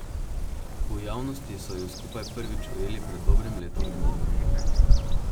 V javnosti so ju skupaj prvič ujeli pred dobrim letom dni.